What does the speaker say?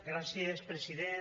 gràcies president